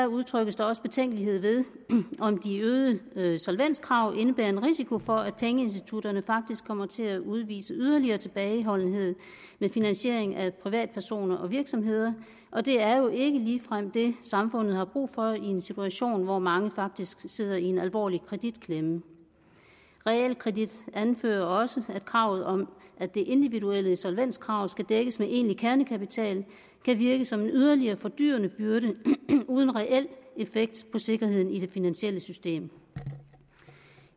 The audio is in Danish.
udtrykkes der også betænkelighed ved om de øgede øgede solvenskrav indebærer en risiko for at pengeinstitutterne faktisk kommer til at udvise yderligere tilbageholdenhed ved finansiering af privatpersoner og virksomheder og det er jo ikke ligefrem det samfundet har brug for i en situation hvor mange faktisk sidder i en alvorlig kreditklemme realkredit anfører også at kravet om at det individuelle solvenskrav skal dækkes med egentlig kernekapital kan virke som en yderligere fordyrende byrde uden reel effekt på sikkerheden i det finansielle system